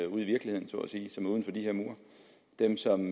ude i virkeligheden så at sige som er uden for de her mure dem som